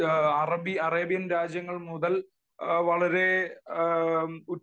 Arabian രാജ്യങ്ങൾ മുതൽ വളരെ